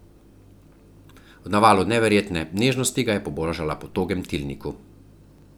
V navalu neverjetne nežnosti ga je pobožala po togem tilniku.